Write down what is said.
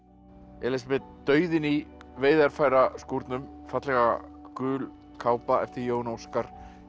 Elísabet dauðinn í fallega gul kápa eftir Jón Óskar